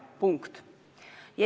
Punkt.